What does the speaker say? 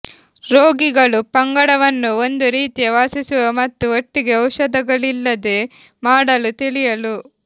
ರೋಗಿಗಳು ಪಂಗಡವನ್ನು ಒಂದು ರೀತಿಯ ವಾಸಿಸುವ ಮತ್ತು ಒಟ್ಟಿಗೆ ಔಷಧಗಳಿಲ್ಲದೆ ಮಾಡಲು ತಿಳಿಯಲು